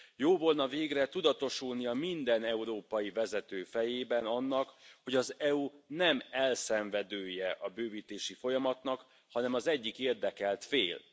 Jó volna végre tudatosulnia minden európai vezető fejében annak, hogy az EU nem elszenvedője a bővítési folyamatnak, hanem az egyik érdekelt fél.